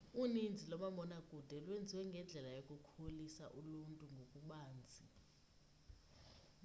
uninzi loomabona kude lwenziwe ngendlela yokukholisa uluntu ngokubanzi